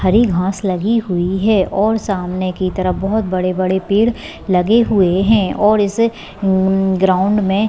हरी घास लगी हुई है और सामने की तरफ बहुत बड़े-बड़े पेड़ लगे हुए है और इसे हम्म ग्राउंड में--